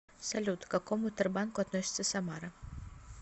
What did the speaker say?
салют к какому тербанку относится самара